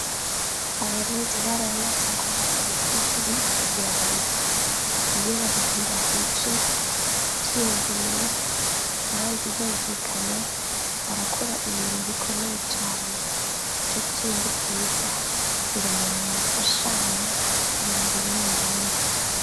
Abarundi barayamaze ngo ubugirigiri bugira babiri iyo babiri bahuje ivyumviro kandi bumvikanye barakora ibintu bikomeye cane nico gituma ari vyiza kugira umuntu mufashanya ibintu bimwe bimwe.